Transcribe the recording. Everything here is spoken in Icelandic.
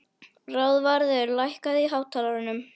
Ráðvarður, lækkaðu í hátalaranum.